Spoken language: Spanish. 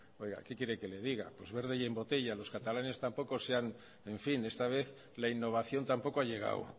ciento oiga qué quiere que le diga pues verde y en botella los catalanes tampoco se han en fin esta vez la innovación tampoco ha llegado